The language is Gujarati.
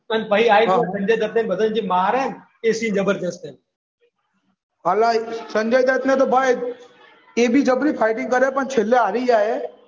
પછી આવીને સંજય દત્ત બધાને મારે ને એ સીન જબરજસ્ત હે. સંજય દત્ત ને તો ભાઈ એ બી જબરી ફાઈટિંગ કરે પણ છેલ્લે હારી જાય.